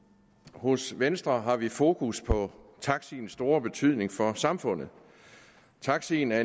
hos venstre har vi fokus på taxiens store betydning for samfundet taxien er